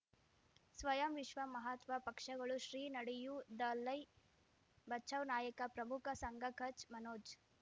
ಸ್ವಯಂ ವಿಶ್ವ ಮಹಾತ್ಮ ಪಕ್ಷಗಳು ಶ್ರೀ ನಡೆಯೂ ದಲೈ ಬಚೌ ನಾಯಕ ಪ್ರಮುಖ ಸಂಘ ಕಚ್ ಮನೋಜ್